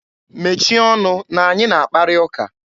Mechie ọnụ na anyị na akparị ụka!